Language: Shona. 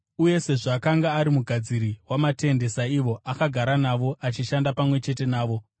uye sezvo akanga ari mugadziri wamatende saivo, akagara navo achishanda pamwe chete navo.